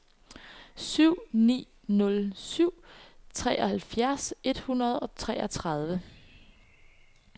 syv ni nul syv treoghalvfjerds et hundrede og treogtredive